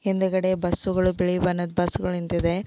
ಹಿಂದುಗಡೆ ಬಸ್ಸುಗಳು ಬಿಳಿ ಬಣ್ಣದ ಬಸ್ಸುಗಳು ನಿಂತಿದೆ.